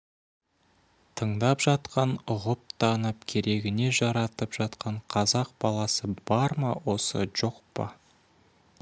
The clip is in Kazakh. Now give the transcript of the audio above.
тыңдап жатқан ұғып-танып керегіне жаратып жатқан қазақ баласы бар ма осы жоқ па